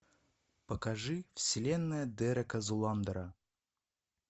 покажи вселенная дерека зуландера